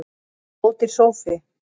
Ódýr sófi